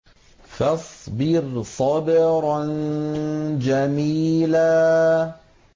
فَاصْبِرْ صَبْرًا جَمِيلًا